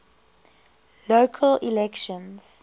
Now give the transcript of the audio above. local elections